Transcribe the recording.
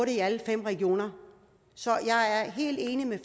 i alle fem regioner så jeg er helt enig med